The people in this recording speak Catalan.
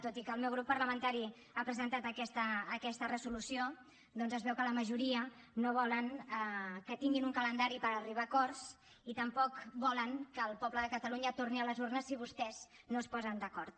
tot i que el meu grup parlamentari ha presentat aquesta resolució doncs es veu que la majoria no volen que tinguin un calendari per arribar a acords i tampoc volen que el poble de catalunya torni a les urnes si vostès no es posen d’acord